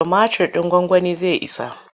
Tumatir ɗin gwagwanin zai isa?